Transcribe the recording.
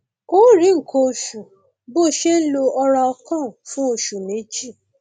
o ò rí nǹkan oṣù bó o ṣe ń lo oralcon fún oṣù méjì